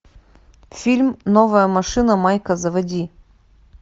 фильм новая машина майка заводи